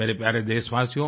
मेरे प्यारे देशवासियों